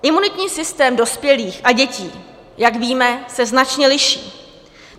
Imunitní systém dospělých a dětí, jak víme, se značně liší.